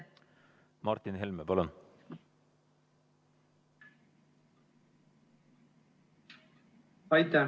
Martin Helme, palun!